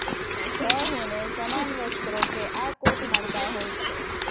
the હૂને સમાન વસ્ત્રો કે આ કોટ મળતા હોય છે